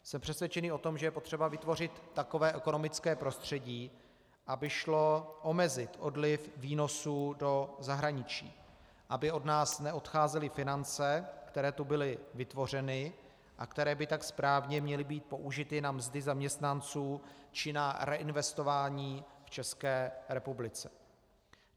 Jsem přesvědčený o tom, že je potřeba vytvořit takové ekonomické prostředí, aby šlo omezit odliv výnosů do zahraničí, aby od nás neodcházely finance, které tu byly vytvořeny a které by tak správně měly být použity na mzdy zaměstnanců či na reinvestování v České republice.